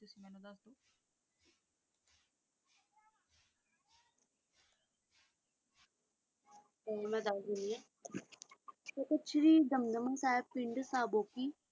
ਗੁਰੂ ਜੀ ਦਮਦਮਾ ਸਾਹਿਬ ਪਿੰਡ ਸਾਬੋਕੀ